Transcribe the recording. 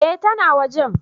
Eh ta na wajen